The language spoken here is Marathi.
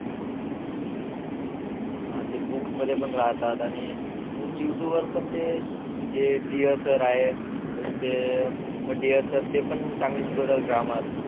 हा ते बुक्स मध्ये पण राहतात आणि अजून यूट्यूब वर पण जे सर आहे अजून ते डियर सर ते पण चांगले शिकवतात ग्रामर